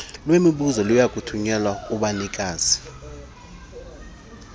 lwemibuzo liyakuthunyelwa kubanikazi